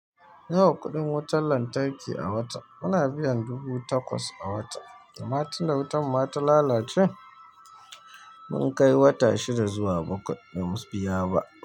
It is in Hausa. Nawa kuɗin wutar lantarki a wata? Muna biyan dubu takwas a wata, amma tunda wutan muma ta lalacen, mun kai wata shida zuwa bakwa ba mu biya ba.